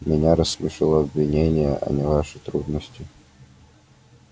меня рассмешило обвинение а не ваши трудности